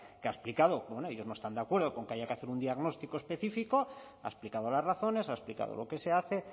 que ha explicado bueno ellos no están de acuerdo con que haya que hacer un diagnóstico específico ha explicado las razones ha explicado lo que se hace